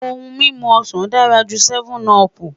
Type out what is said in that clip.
Ohun mimu osan dara ju 7up